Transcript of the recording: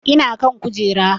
Ina kan kujera